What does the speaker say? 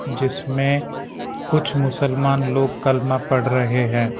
जिसमें कुछ मुसलमान लोग कलमा पढ़ रहे हैं।